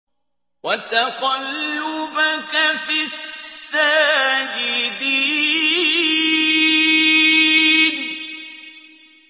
وَتَقَلُّبَكَ فِي السَّاجِدِينَ